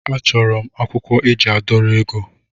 A chọrọ m akwụkwọ eji a dọrọ ego.